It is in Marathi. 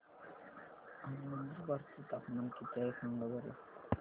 आज नंदुरबार चं तापमान किती आहे सांगा बरं